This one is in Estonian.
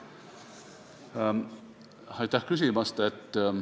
Aitäh küsimast!